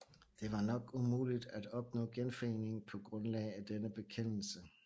Det var nok umuligt at opnå genforening på grundlag af denne bekendelse